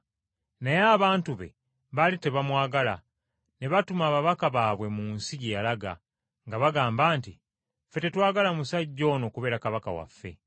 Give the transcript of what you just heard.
“Naye abantu be baali tebamwagala ne batuma ababaka baabwe mu nsi gye yalaga, nga bagamba nti, ‘Ffe tetwagala musajja ono kubeera kabaka waffe.’